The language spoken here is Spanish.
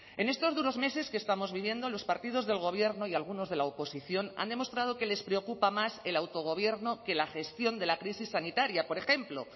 en estos duros meses que estamos viviendo los partidos del gobierno y algunos de la oposición han demostrado que les preocupa más el autogobierno que la gestión de la crisis sanitaria por ejemplo